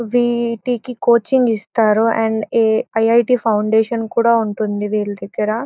ఈ విటికి కోచింగ్ ఇస్తారు. And I. I. T foundation కూడా ఉంటుంది వీళ్ళ దగ్గర.